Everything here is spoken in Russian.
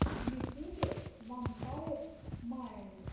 в ютьюбе вампайрс майнд